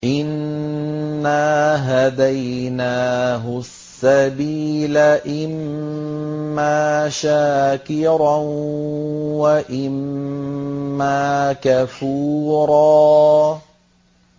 إِنَّا هَدَيْنَاهُ السَّبِيلَ إِمَّا شَاكِرًا وَإِمَّا كَفُورًا